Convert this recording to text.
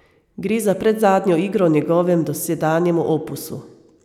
Gre za predzadnjo igro v njegovem dosedanjem opusu.